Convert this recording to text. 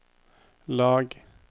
lag